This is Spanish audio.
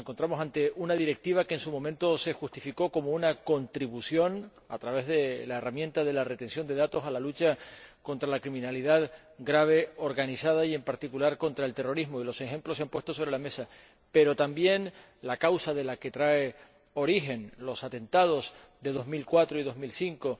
Nos encontramos ante una Directiva que, en su momento, se justificó como una contribución, a través de la herramienta de la retención de datos, a la lucha contra la delincuencia grave organizada y, en particular, contra el terrorismo y los ejemplos se han puesto sobre la mesa a raíz de los atentados de 2004 y 2005